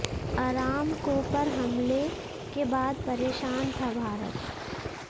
Aramco पर हमले के बाद परेशान था भारत